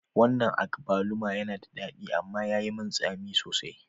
Wannan agbalumo yana da daɗi amma yayi tsami sosai